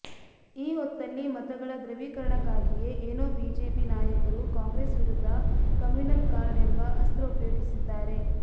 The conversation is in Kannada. ಈ ಹೊತ್ತಲ್ಲಿ ಮತಗಳ ಧೃವೀಕರಣಕ್ಕಾಗಿಯೇ ಏನೋ ಬಿಜೆಪಿ ನಾಯಕರು ಕಾಂಗ್ರೆಸ್ ವಿರುದ್ಧ ಕಮ್ಯೂನಲ್ ಕಾರ್ಡ್ ಎಂಬ ಅಸ್ತ್ರ ಪ್ರಯೋಗಿಸಿದ್ದಾರೆ